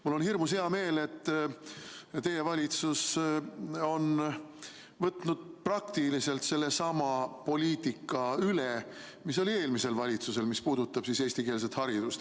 Mul on hirmus hea meel, et teie valitsus on võtnud praktiliselt sellesama poliitika üle, mis oli eelmisel valitsusel, mis puudutab eestikeelset haridust.